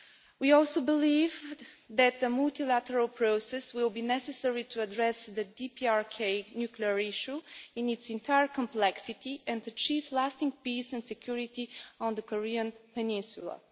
We also believe that the multilateral process will be necessary to address the DPRK nuclear issue in its entire complexity and achieve lasting peace and security on the Korean Peninsula.